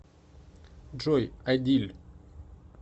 джой адиль